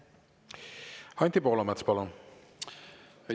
Anti Poolamets, palun!